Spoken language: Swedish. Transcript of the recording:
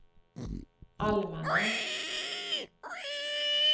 allmänna